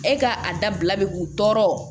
E ka a dabila bɛ k'u tɔɔrɔ